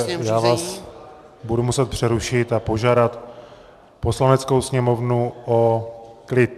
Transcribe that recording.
Pane poslanče, já vás budu muset přerušit a požádat Poslaneckou sněmovnu o klid.